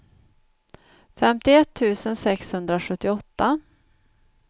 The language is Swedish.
femtioett tusen sexhundrasjuttioåtta